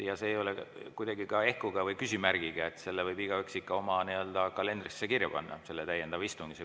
See ei ole kuidagi ka ehkuga või küsimärgiga, selle võib igaüks ikka oma kalendrisse kirja panna, selle täiendava istungi.